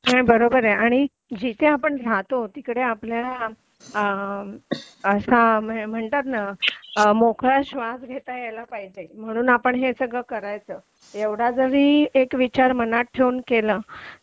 नाही आणि बरोबर आहे जिकडे आपण राहतो तिकडे आपल्या म्हणजे म्हणतात ना मोकळा श्वास घेता यायला पाहिजे म्हणून आपण हे सगळं करायचं एवढा जरी एक विचार मनात ठेवून केलं